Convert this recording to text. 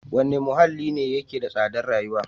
Wane muhalli ne yake da tsadar rayuwa?